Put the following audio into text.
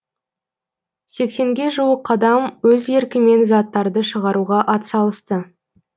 сексенге жуық адам өз еркімен заттарды шығаруға атсалысты